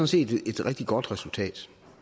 set et rigtig godt resultat